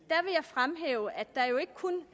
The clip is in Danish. vil jeg fremhæve at der jo ikke kun